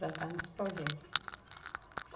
Plantar nos projeto.